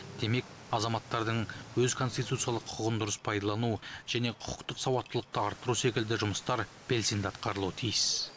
демек азаматтардың өз конституциялық құқығын дұрыс пайдалану және құқықтық сауаттылықты арттыру секілді жұмыстар белсенді атқарылу тиіс